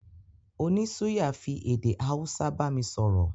Oní suya fi èdè Hausa bámi sọ̀rọ̀